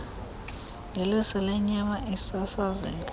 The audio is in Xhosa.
ngeliso lenyama isasazeka